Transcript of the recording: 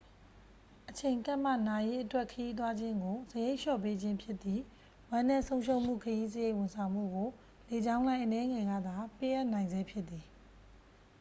အချိန်ကပ်မှ နာရေးအတွက် ခရီးသွားခြင်းကို စရိတ်လျော့ပေးခြင်းဖြစ်သည့် ဝမ်းနည်းဆုံးရှုံးမှုခရီးစရိတ် ဝန်ဆောင်မှုကို လေကြောင်းလိုင်း အနည်းငယ်ကသာ ပေးအပ်နိုင်ဆဲဖြစ်သည်